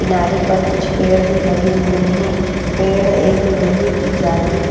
किनारे पर कुछ पेड़ भी लगे हुए हैं पेड़ एक लोहे की जाली--